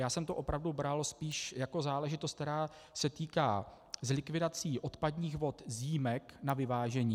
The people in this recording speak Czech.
Já jsem to opravdu bral spíš jako záležitost, která se týká likvidací odpadních vod z jímek na vyvážení.